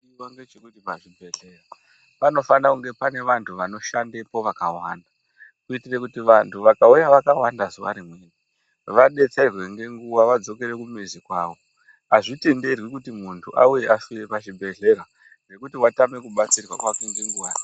Chinodiwa ndechekuti pachibhedhlera panofane kunga panevantu vanoshandapo vakawanda, kuitire kuti vantu vakauya vakawanda zuva rimwe, vadetserwe ngenguwa vadzokere kumizi kwavo. Azvitenderwi kuti muntu auye aswere pachibhedhlera ngekuti watame kubatsirwa kwake ngenguwa.